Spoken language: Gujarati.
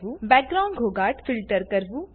બેકગ્રાઉન્ડ ઘોંઘાટ ફિલ્ટર કરવું